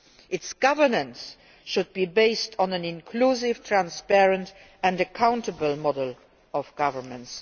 Its governance should be based on an inclusive, transparent and accountable model of governance.